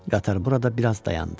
Qatar burada biraz dayandı.